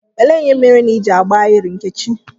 Elee ihe mere Ị ji agba ahịrị, Nkechi?